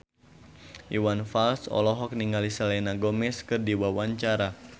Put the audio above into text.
Iwan Fals olohok ningali Selena Gomez keur diwawancara